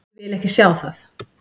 Ég vil ekki sjá það.